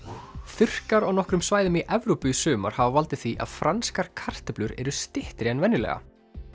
þurrkar á nokkrum svæðum í Evrópu í sumar hafa valdið því að franskar kartöflur eru styttri en venjulega